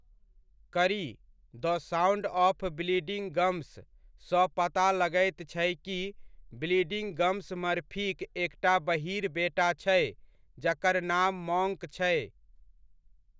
कड़ी 'the sound of bleeding gums' सँ पता लगैत छै कि ब्लीडिंग गम्स मर्फीक एकटा बहीर बेटा छै जकर नाम मॉन्क छै।